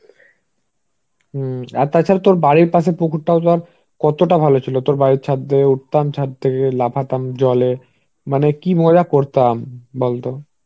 হম আর তাছাড়া তোর বাড়ির পাশে পুকুরটাও তো আর কতটা ভালো ছিল. তোর বাড়ির ছাদ দিয়ে উঠতাম ছাদ থেকে লাফাতাম জলে মানে কি মজা করতাম বলতো.